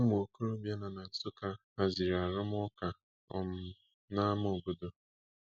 Ụmụ okorobịa nọ na Nsukka haziri arụmụka um nama obodo.